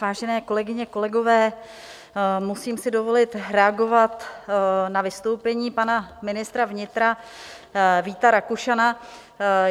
Vážené kolegyně, kolegové, musím si dovolit reagovat na vystoupení pana ministra vnitra Víta Rakušana.